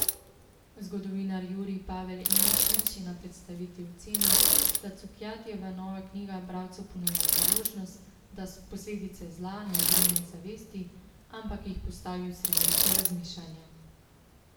Zgodovinar Jurij Pavel Emeršič je na predstavitvi ocenil, da Cukjatijeva nova knjiga bralcu ponuja priložnost, da posledice zla ne odrine iz zavesti, ampak jih postavi v središče razmišljanja.